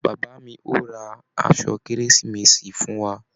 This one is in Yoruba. Bàbá mí o rá aṣọ kérésìmesì fún wà.